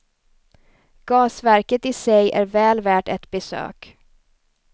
Gasverket i sig är väl värt ett besök.